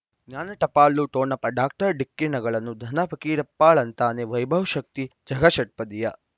ಜ್ಞಾನ ಟಪಾಲು ಠೊಣಪ ಡಾಕ್ಟರ್ ಢಿಕ್ಕಿ ಣಗಳನು ಧನ ಫಕೀರಪ್ಪ ಳಂತಾನೆ ವೈಭವ್ ಶಕ್ತಿ ಝಗಾ ಷಟ್ಪದಿಯ